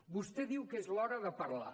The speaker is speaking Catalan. vostè diu que és l’hora de parlar